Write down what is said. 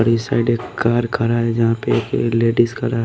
और इस साइड एक कार खड़ा है यहां पे एक लेडिस खड़ा है।